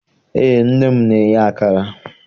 Eé, nne m na-eye akara